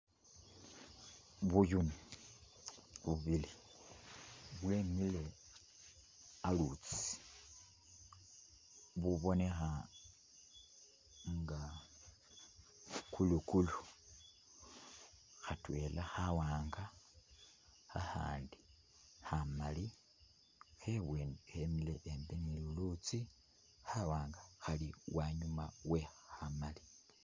Buyuni bubili bwemile alutsi, bubonekha nga kulukulu, khatwela khawanga khakhandi khamali khebweni khemile akhwimbi nilulutsi khawanga khali anyuma we khamali.